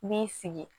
I b'i sigi